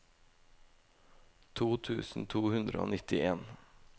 to tusen to hundre og nittien